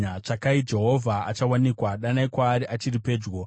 Tsvakai Jehovha achawanikwa: danai kwaari achiri pedyo.